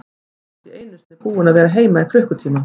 Hann var ekki einu sinni búinn að vera heima í klukkutíma.